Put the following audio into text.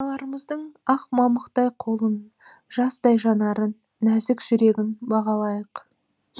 аналарымыздың ақ мамықтай қолын жаздай жанарын нәзік жүрегін бағалайық